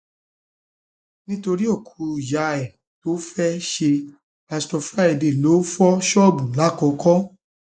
nítorí òkú ìyá ẹ tó fẹẹ ṣe pásítọ friday lóò fọ ṣọọbù làkọkọ